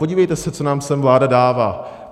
Podívejte se, co nám sem vláda dává.